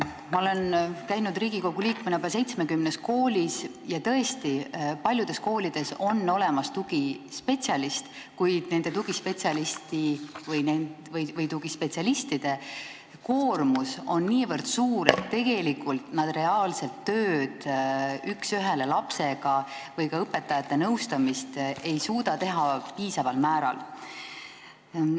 Ma olen käinud Riigikogu liikmena 70 koolis ja tõesti paljudes koolides on olemas tugispetsialist, kuid nende tugispetsialistide koormus on nii suur, et nad tegelikult üks ühele tööd lapsega või ka õpetajate nõustamist ei suuda piisaval määral teha.